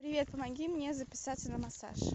привет помоги мне записаться на массаж